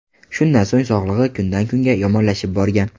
Shundan so‘ng sog‘lig‘i kundan kunga yomonlashib borgan.